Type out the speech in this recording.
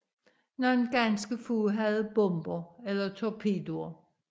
Nogle ganske få havde bomber eller torpedoer